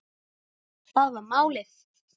Það var málið.